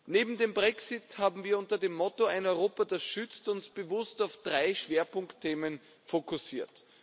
Neben dem Brexit haben wir uns unter dem Motto Ein Europa, das schützt bewusst auf drei Schwerpunktthemen fokussiert.